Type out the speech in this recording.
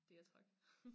Det jeg trak